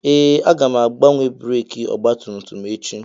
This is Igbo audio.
Ee! Aga m agbanwe breekị ọgbatumtum echi.